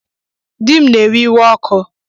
Di m na-ewe iwe ọkụ